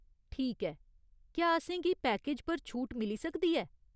ठीक ऐ। क्या असेंगी पैकेज पर छूट मिली सकदी ऐ ?